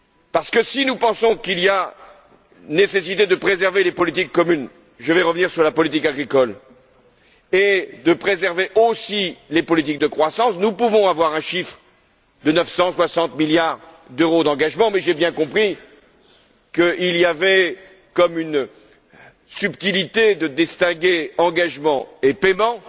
Parce que, si nous pensons qu'il y a nécessité de préserver les politiques communes je vais revenir sur la politique agricole et de préserver aussi les politiques de croissance, nous pouvons avoir un chiffre de 960 milliards d'euros d'engagements, mais j'ai bien compris qu'il y avait comme une subtilité consistant à distinguer engagements et paiements,